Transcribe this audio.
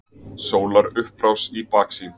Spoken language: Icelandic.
Sólarupprás í baksýn.